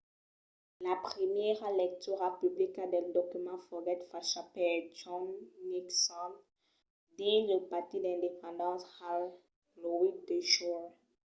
la primièra lectura publica del document foguèt facha per john nixon dins lo pati d'independence hall lo 8 de julh